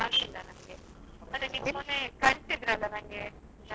ಹೋ ಅದು ತುಂಬಾ ದೂರ ಆಗತ್ತದೆ.